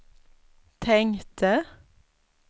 tänkte